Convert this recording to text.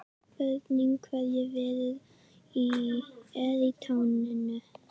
Spurning hvernig Viðar er í taninu?